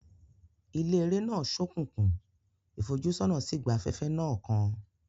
Ilé eré náà ṣókùnkùn, ìfojúsọ́nà sì gba afẹ́fẹ́ náà kan.